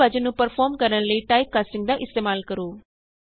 ਮੂਲ ਵਿਭਾਜਨ ਨੂੰ ਪਰਫੋਰਮ ਕਰਨ ਲਈ ਟਾਈਪਕਾਸਟਿੰਗ ਦਾ ਇਸਤੇਮਾਲ ਕਰੋ